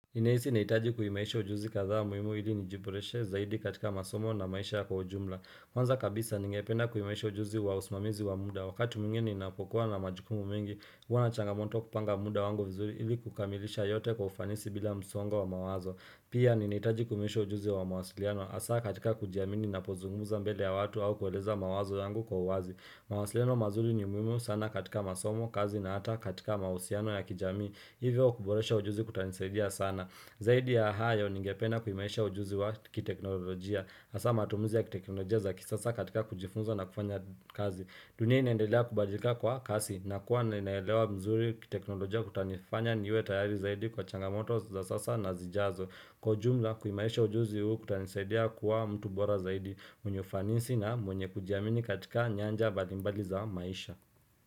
Ninahisi ninahitaji kuhimarisha ujuzi kadhaa muhimu ili nijiboreshe zaidi katika masomo na maisha kwa ujumla. Kwanza kabisa ningependa kuimarisha ujuzi wa usimamizi wa muda. Wakati mwingine ninapokuwa na majukumu mingi, huwa na changamoto kupanga muda wangu vizuri ili kukamilisha yote kwa ufanisi bila msongo wa mawazo. Pia, ninahitaji kuimarisha ujuzi wa mawasiliano hasaa katika kujiamini ninapozungumza mbele ya watu au kueleza mawazo yangu kwa uwazi. Mawasiliano mazuri ni muhimu sana katika masomo, kazi na hata katika mahusiano ya kijamii. Hivyo kuboresha ujuzi kutanisaidia sana Zaidi ya hayo ningependa kuimaisha ujuzi wa kiteknolojia. Hasaa matumizi ya kiteknolojia za kisasa katika kujifunza na kufanya kazi. Dunia inaendelea kubadika kwa kasi. Nakuwa ninaelewa vizuri kiteknolojia kutanifanya niwe tayari zaidi kwa changamoto za sasa na zijazo Kwa ujumla kuimarisha ujuzi huu kutanisaidia kuwa mtu bora zaidi mwenye ufanisi na mwenye kujiamini katika nyanja mbalimbali za maisha.